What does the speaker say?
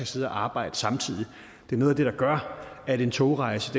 sidde og arbejde samtidig noget af det der gør at en togrejse